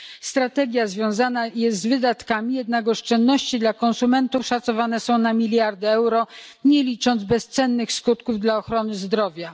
Strategia wiąże się z wydatkami, jednak oszczędności dla konsumentów szacowane są na miliardy euro, nie licząc bezcennych skutków dla ochrony zdrowia.